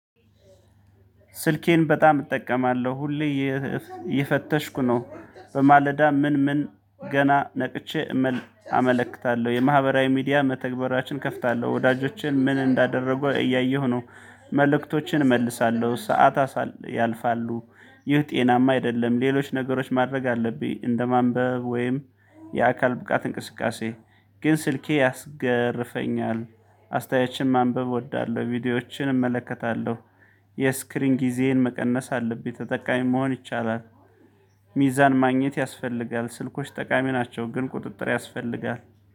ስልኬን በጣም እጠቀማለሁ። ሁሌ እየ እየፈተሽኩ ነው። በማለዳ ምን ምን ገና ነቅቼ እመል አመለክታለሁ። የማህበራዊ ሚዲያ መተግበሪያዎችን እከፍታለሁ። ወዳጄቼን ምን እንዳደረጉ እያየሁ ነው። መልእክቶችን እመልሳለሁ። ሰዓታ አሳል ያልፋሉ። ይህ ጤናማ አይደለም። ሌሎች ነገሮች ማድረግ አለብኝ። እንደማንበብ፣ ወይም የአካል ብቃት እንቅስቃሴ ግን ስልኬ ያስገርፈኛል። አስተያየችን ማንበብ እወዳለሁ። ቪዲዮዎችን እመለከታለሁ። የስክሪን ጊዜዬን መቀነስ አለብኝ። ተጠቃሚ መሆን ይቻላል። ሚዛን ማግኘት ያስፈልጋል። ስልኮች ጠቃሚ ናቸው። ግን ቁጥጥር ያስፈልጋል።